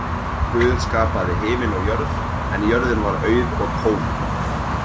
Guð skapaði himin og jörð en jörðin var auð og tóm.